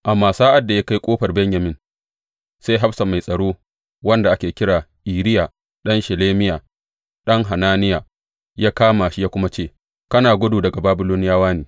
Amma sa’ad da ya kai Ƙofar Benyamin, sai hafsa mai tsaro, wanda ake kira Iriya ɗan Shelemiya, ɗan Hananiya, ya kama shi ya kuma ce, Kana gudu daga Babiloniyawa ne!